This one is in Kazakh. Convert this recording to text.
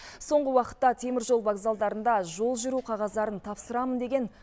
соңғы уақытта теміржол вокзалдарында жол жүру қағаздарын тапсырамын деген